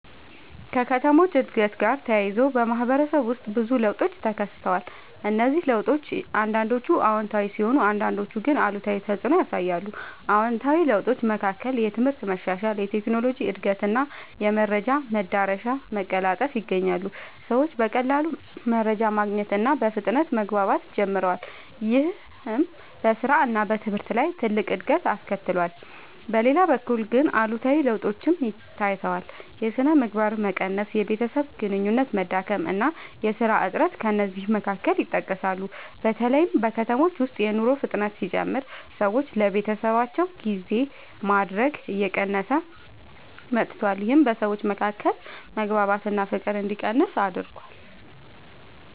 ከከተሞች እድገት ጋር ተያይዞ በማህበረሰብ ውስጥ ብዙ ለውጦች ተከስተዋል። እነዚህ ለውጦች አንዳንዶቹ አዎንታዊ ሲሆኑ አንዳንዶቹ ግን አሉታዊ ተፅዕኖ ያሳያሉ። ከአዎንታዊ ለውጦች መካከል የትምህርት መሻሻል፣ የቴክኖሎጂ እድገት እና የመረጃ መዳረሻ መቀላጠፍ ይገኛሉ። ሰዎች በቀላሉ መረጃ ማግኘት እና በፍጥነት መግባባት ጀምረዋል። ይህም በስራ እና በትምህርት ላይ ትልቅ እድገት አስከትሏል። በሌላ በኩል ግን አሉታዊ ለውጦችም ታይተዋል። የሥነ ምግባር መቀነስ፣ የቤተሰብ ግንኙነት መዳከም እና የሥራ እጥረት ከእነዚህ መካከል ይጠቀሳሉ። በተለይ በከተሞች ውስጥ የኑሮ ፍጥነት ሲጨምር ሰዎች ለቤተሰባቸው ጊዜ ማድረግ እየቀነሰ መጥቷል። ይህም በሰዎች መካከል መግባባት እና ፍቅር እንዲቀንስ አድርጓል።